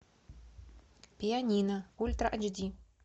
пианино ультра айч ди